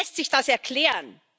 Wie lässt sich das erklären?